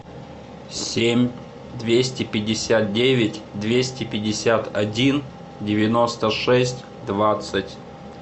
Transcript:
семь двести пятьдесят девять двести пятьдесят один девяносто шесть двадцать